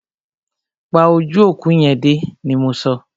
Pa ojú òkú yẹn dé! ni mọ so.